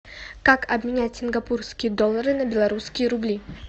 как обменять сингапурские доллары на белорусские рубли